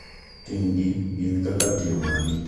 Ting`gi gin kaka timo arita makende ne gweng`